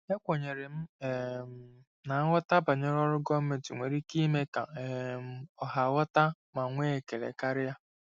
Ekwenyere m um na nghọta banyere ọrụ gọọmentị nwere ike ime ka um ọha ghọta ma nwee ekele karịa.